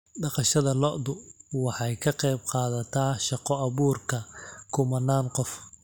Dhaqashada lo'du waxay ka qayb qaadatay shaqo abuurka kumanaan qof.